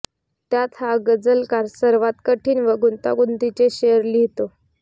त्यात हा गझलकार सर्वात कठीण व गुंतागुंतीचे शेर लिहितो